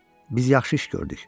Biz yaxşı iş gördük.